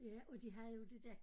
Ja og de havde jo det dér